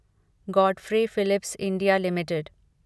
Godfrey Phillips India limited